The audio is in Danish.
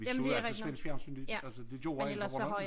Vi så jo altid svensk fjernsyn det altså det gjorde alle på Bornholm